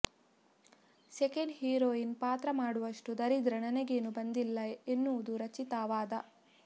second heroine ಪಾತ್ರ ಮಾಡುವಷ್ಟು ದರಿದ್ರ ನನಗೇನೂ ಬಂದಿಲ್ಲ ಎನ್ನುವುದು ರಕ್ಷಿತಾ ವಾದ